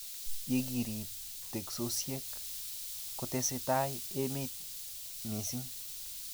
Ye kirib teksosiek, kotesetai emet misisng